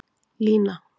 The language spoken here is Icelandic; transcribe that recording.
Lína